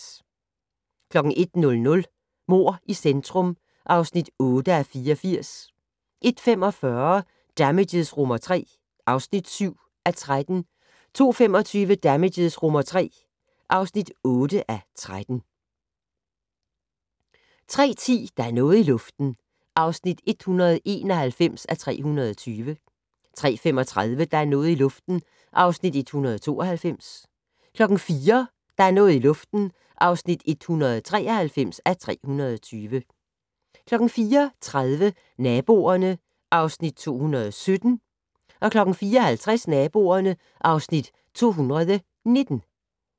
01:00: Mord i centrum (8:84) 01:45: Damages III (7:13) 02:25: Damages III (8:13) 03:10: Der er noget i luften (191:320) 03:35: Der er noget i luften (192:320) 04:00: Der er noget i luften (193:320) 04:30: Naboerne (Afs. 217) 04:50: Naboerne (Afs. 219)